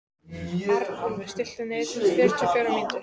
Arnúlfur, stilltu niðurteljara á fjörutíu og fjórar mínútur.